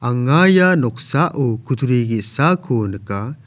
anga ia noksao kutturi ge·sako nika.